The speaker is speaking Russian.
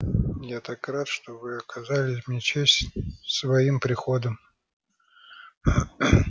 я так рад что вы оказали мне честь своим приходом